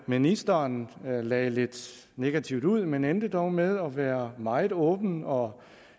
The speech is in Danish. ministeren lagde lidt negativt ud men endte dog med at være meget åben og